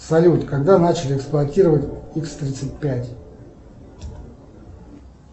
салют когда начали эксплуатировать икс тридцать пять